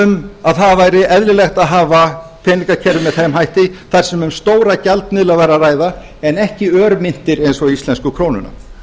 um að það væri eðlilegt að hafa peningakerfið með þeim hætti þar sem um stóra gjaldmiðla væri að ræða en ekki örmyntir eins og íslensku krónuna